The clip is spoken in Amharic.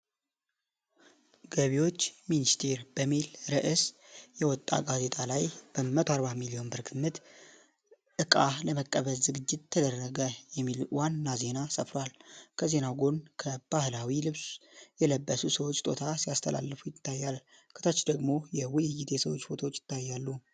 "ገቢዎች ሚኒስቴር" በሚል ርዕስ የወጣ ጋዜጣ ላይ፣ "በ 140 ሚሊዮን ብር በግምት ዕቃ ለመቀበል ዝግጅት ተደረገ" የሚል ዋና ዜና ሰፍሯል። ከዜናው ጎን በባህላዊ ልብስ የለበሱ ሰዎች ስጦታ ሲያስተላልፉ ይታያል። ከታች ደግሞ የውይይትና የሰዎች ፎቶዎች ይታያሉ።